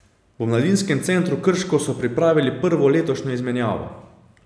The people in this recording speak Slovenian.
V Mladinskem centru Krško so pripravili prvo letošnjo izmenjavo.